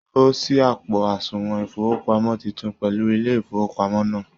O sí àpo àsùnwòn ifowopamọ títún pẹlú ilé ifowopamọ náà.